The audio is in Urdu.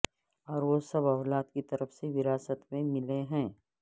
اور وہ سب اولاد کی طرف سے وراثت میں ملے ہیں